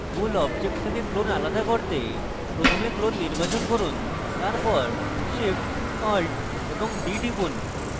মূল object থেকে clone আলাদা করতে প্রথমে clone নির্বাচন করুন তারপর shift + alt + d টিপুন